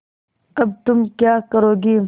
अब तुम क्या करोगी